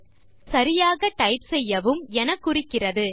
இது அதை சரியாக டைப் செய்யவும் என குறிக்கிறது